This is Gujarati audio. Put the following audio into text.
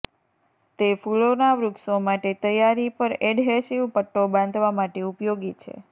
તે ફૂલોના વૃક્ષો માટે તૈયારી પર એડહેસિવ પટ્ટો બાંધવા માટે ઉપયોગી છે